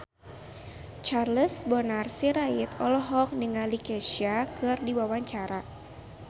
Charles Bonar Sirait olohok ningali Kesha keur diwawancara